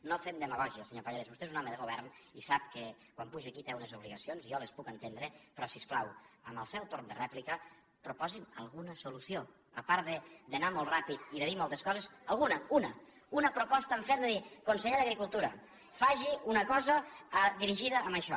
no fem demagògia senyor pallarès vostè és un home de govern i sap que quan puja aquí té unes obligacions jo les puc entendre però si us plau en el seu torn de rèplica proposi’m alguna solució a part d’anar molt rà pid i de dir moltes coses alguna una una proposta en ferm de dir conseller d’agricultura faci una cosa dirigida a això